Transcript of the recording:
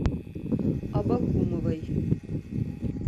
абакумовой